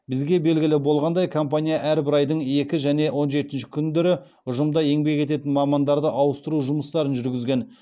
бізге белгілі болғандай компания әрбір айдың екі және он жетінші күндері ұжымда еңбек ететін мамандарды ауыстыру жұмыстарын жүргізген